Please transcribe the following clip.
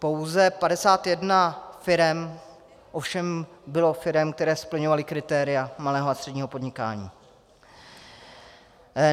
Pouze 51 firem ovšem byly firmy, které splňovaly kritéria malého a středního podnikání.